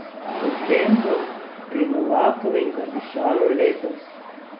Po čem bo pri Novakovih zadišalo letos?